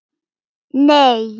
Nei